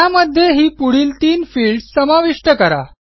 त्यामध्ये ही पुढील तीन फील्ड्स समाविष्ट करा